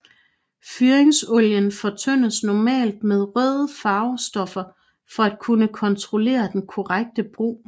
Fyringsolien fortyndes normalt med røde farvestoffer for at kunne kontrollere den korrekte brug